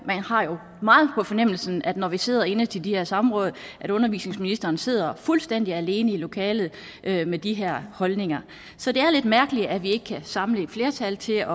man har jo meget på fornemmelsen når vi sidder inde til de her samråd at undervisningsministeren sidder fuldstændig alene i lokalet med de her holdninger så det er lidt mærkeligt at vi ikke kan samle et flertal til at